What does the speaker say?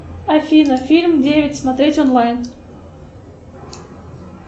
афина фильм девять смотреть онлайн